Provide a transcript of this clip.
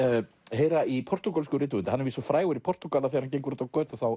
heyra í portúgölskum rithöfundi hann er víst svo frægur í Portúgal að þegar hann gengur úti á götu